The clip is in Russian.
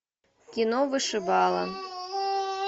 кино вышибала